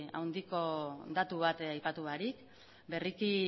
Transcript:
handiko datu bat aipatu barik berriki